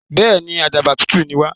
Bẹ́èni, àdàbà tutù ní wà.